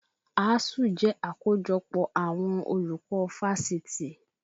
Asuu jẹ́ àkójọpọ̀ àwọn àwọn olùkọ́ fáṣitì